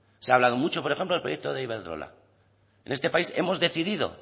se ha hablado mucho por ejemplo del proyecto de iberdrola en este país hemos decidido